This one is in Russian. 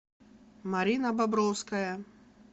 марина бобровская